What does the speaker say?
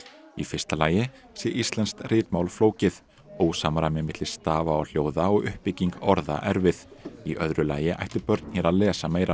í fyrsta lagi sé íslenskt ritmál flókið ósamræmi milli stafa og hljóða og uppbygging orða erfið í öðru lagi ættu börn hér að lesa meira